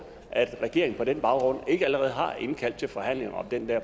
at regeringen på den baggrund ikke allerede har indkaldt til forhandlinger om den